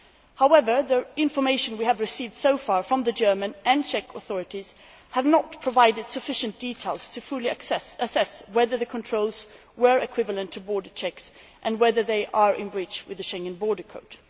However, the information we have received so far from the German and Czech authorities has not provided sufficient details to fully assess whether the controls were equivalent to border checks and whether they are in breach of the Schengen Borders Code.